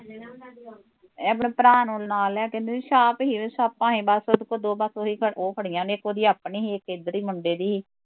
ਏਹ ਮੇਰੇ ਭਰਾ ਨੂੰ ਨਾਲ਼ ਲੈ ਕਹਿੰਦੇ ਸੀ ਛਾਪ ਸੀ ਉਹਦੀ, ਛਾਪਾਂ ਏ ਬਸ ਉਹਦੇ ਕੋਲ ਦੋ ਉਹ ਖੜੀਆ ਨੇ ਇੱਕ ਉਹਦੀ ਆਪਣੀ ਸੀ ਇੱਕ ਇੱਧਰ ਦੀ ਸੀ ਮੁੰਡੇ ਦੀ ਸੀ